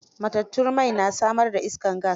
Matatun mai na samar da iskar gas.